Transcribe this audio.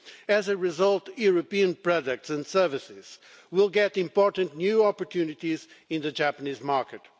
As a result, European products and services will get major new opportunities in the Japanese market.